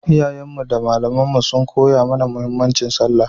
Iyayenmu da malamanmu sun koya mana muhimmancin sallah